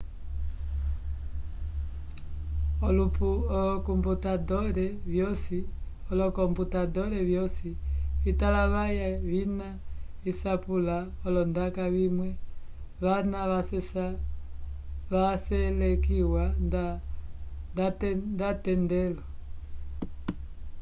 olocomputador vyosi vitalavaya vina visapula olondaka vimwe vana vaselekiwa nda atendelo